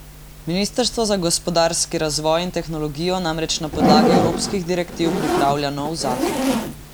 Ministrstvo za gospodarski razvoj in tehnologijo namreč na podlagi evropskih direktiv pripravlja nov zakon.